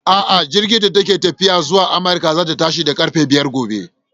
A'a, jirigin da ke tafiya zuwa Amurka zai tashi da ƙarfe biyar gobe.